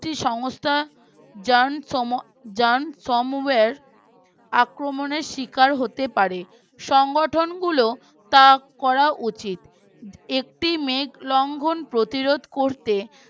একটি সংস্থা jan som junk somewhere আক্রমণের শিকার হতে পারে সংগঠন গুলোর তা করা উচিত এটি মেঘ লঙ্ঘন প্রতিরোধ করতে